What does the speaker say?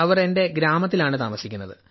അവർ എന്റെ ഗ്രാമത്തിലാണ് താമസിക്കുന്നത്